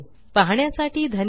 पाहण्यासाठी धन्यवाद